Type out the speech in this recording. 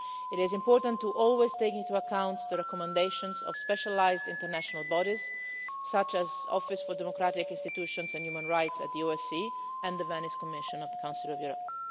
It is important always to take into account the recommendations of specialised international bodies such as the Office for Democratic Institutions and Human Rights at the OSCE and the Venice Commission of the Council of Europe.